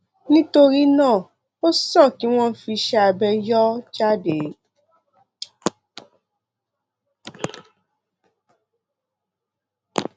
nítorí náà ó sàn kí wọn fi iṣẹ abẹ yọ ọ jáde